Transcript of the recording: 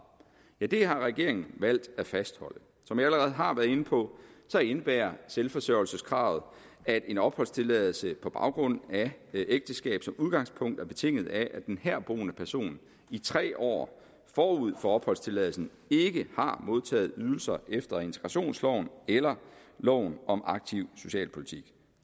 har regeringen valgt at fastholde som jeg allerede har været inde på indebærer selvforsørgelseskravet at en opholdstilladelse på baggrund af ægteskab som udgangspunkt er betinget af at den herboende person i tre år forud for opholdstilladelsen ikke har modtaget ydelser efter integrationsloven eller loven om aktiv socialpolitik